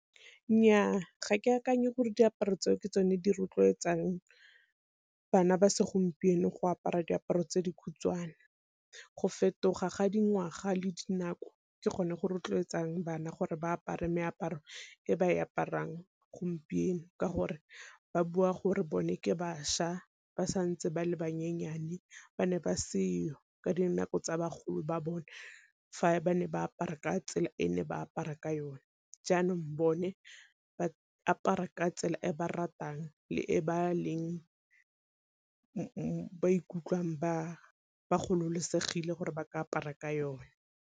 Nnyaa ga ke akanye gore diaparo tseo ke tsone di rotloetsang bana ba segompieno go apara diaparo tse dikhutshwane, go fetoga ga dingwaga le dinako ke gone go rotloetsang bana gore ba apare meaparo e ba e aparang gompieno, ka gore ba bua gore bone ke bašwa ba santse ba le bannyenyane ba ne ba seo ka dinako tsa bagolo ba bone fa ba ne ba apara ka tsela e ne ba apara ka yone. Jaanong bone ba apara ka tsela e ba ratang le e ba leng ba ikutlwang ba ba gololosegile gore ba ka apara ka yone.